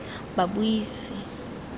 babuisi